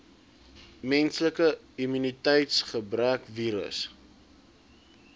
menslike immuniteitsgebrekvirus